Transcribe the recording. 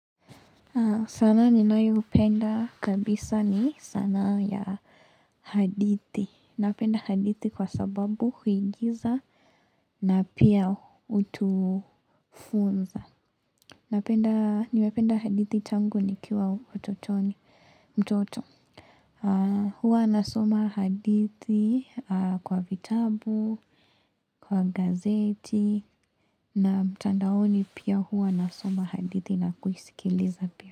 Sanaa ninayoipenda kabisa ni sanaa ya hadithi. Napenda hadithi kwa sababu huigiza na pia hutufunza. Napenda, nimependa hadithi tangu nikiwa utotoni, mtoto. Huwa nasoma hadithi kwa vitabu, kwa gazeti, na mtandaoni pia huwa nasoma hadithi na kuisikiliza pia.